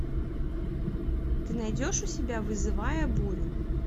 ты найдешь у себя вызывая бурю